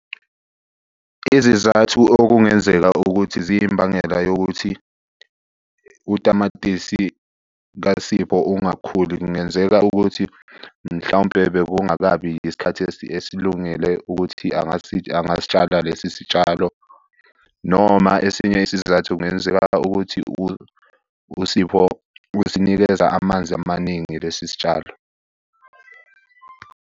Izizathu okungenzeka ukuthi ziyimbangela yokuthi utamatisi kaSipho ungakhuli, kungenzeka ukuthi mhlawumpe bekungakabi yisikhathi esilungele ukuthi angasitshala lesi sitshalo, noma esinye isizathu kungenzeka ukuthi uSipho usinikeza amanzi amaningi lesi sitshalo.